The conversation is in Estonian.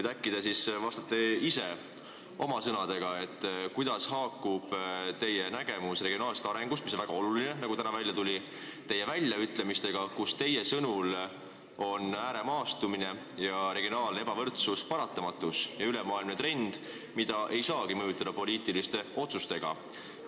Äkki te siis selgitate ise oma sõnadega, kuidas haakub teie nägemus regionaalsest arengust – mis on väga oluline, nagu täna välja tuli – teie väljaütlemistega, et ääremaastumine ja regionaalne ebavõrdsus on paratamatus ja ülemaailmne trend, mida ei saagi mõjutada poliitiliste otsustega?